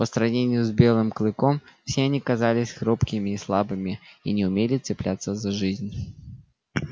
по сравнению с белым клыком все они казались хрупкими и слабыми и не умели цепляться за жизнь